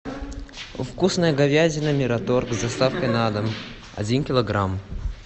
вкусная говядина мираторг с доставкой на дом один килограмм